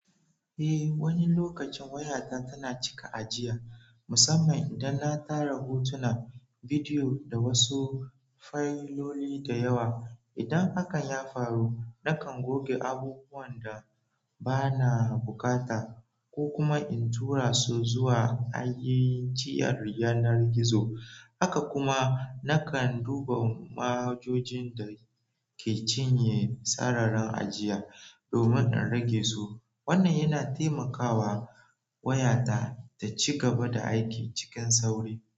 Eh, wani lokacin wayata tana cika ajiya, musamman idan na tara hotuna, bidiyo da wasu fayiloli da yawa. Idan hakan ya faru, nakan goge abubuwan da ba na bukata ko kuma in tura su zuwa ajiyar na yanar gizo. Haka kuma nakan duba ma'ajojin da ke cinye sararin ajiya domin in rage su. Wannan yana taimakawa waya ta, taci gaba da aiki cikin sauri.